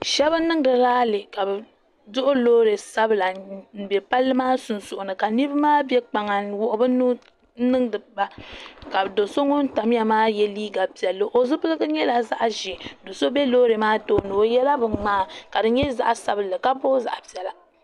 Sheba n niŋdi laali ka bɛ duhi loori sabla m be palli maa sunsuuni ka niriba maa be kpaŋa n wuɣi be nuhi n niŋdi ba ka do'so ŋun tamya maa ye liiga piɛlli o zipiligu nyɛla zaɣa ʒee do'so be loori maa tooni o yela binŋmaa ka di nyɛ zaɣa sabinli ka boogi zaɣa piɛla.